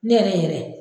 Ne yɛrɛ yɛrɛ